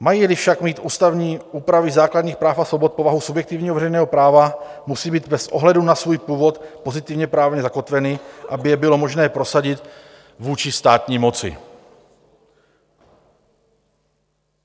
Mají-li však mít ústavní úpravy základních práv a svobod povahu subjektivního veřejného práva, musí být bez ohledu na svůj původ pozitivně právně zakotveny, aby je bylo možné prosadit vůči státní moci.